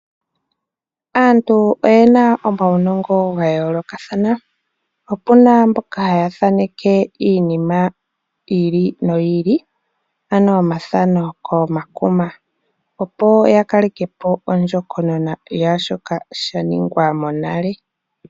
Aantu oyena omawu nongo ga yoolokathana. Opu na mboka haya thaaneke iinima yiili no yiili, ano omathano koma kuma opo ya kalekepo ondjokonona yaa shoka sha ningwa monale.